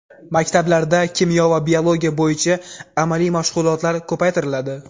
Maktablarda kimyo va biologiya bo‘yicha amaliy mashg‘ulotlar ko‘paytiriladi.